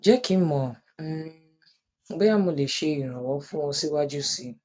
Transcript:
jẹ ki n mọ um boya mo le ṣe iranlọwọ fun ọ siwaju sii